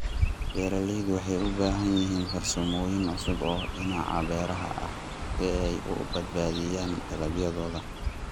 Beeraleydu waxay u baahan yihiin farsamooyin cusub oo dhinaca beeraha ah si ay u badbaadiyaan dalagyadooda.